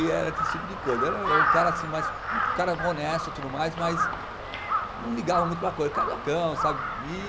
E era esse tipo de coisa, era um cara assim mais, um cara honesto e tudo mais, mas não ligava muito para a coisa, cariocão, sabe?